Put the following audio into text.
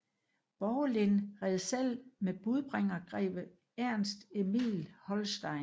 Borgelin red selv med budbringer greve Ernst Emil Holstein